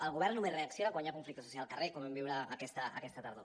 el govern només reacciona quan hi ha conflicte social al carrer com vam viure aquesta tardor